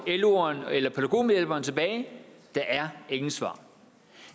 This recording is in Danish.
loeren eller pædagogmedhjælperen tilbage der er ingen svar